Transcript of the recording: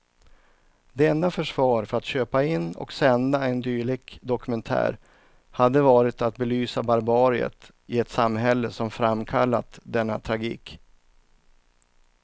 Det enda försvar för att köpa in och sända en dylik dokumentär hade varit att belysa barbariet i ett samhälle som framkallat denna tragik.